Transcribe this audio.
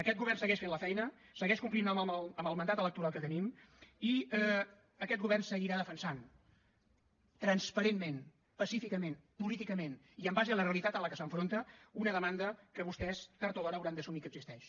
aquest govern segueix fent la feina segueix complint amb el mandat electoral que tenim i aquest govern seguirà defensant transparentment pacíficament políticament i en base a la realitat a què s’enfronta una demanda que vostès tard o d’hora hauran d’assumir que existeix